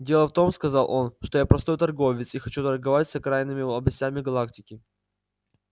дело в том сказал он что я простой торговец и хочу торговать с окраинными областями галактики